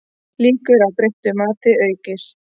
Líkur á breyttu mati aukast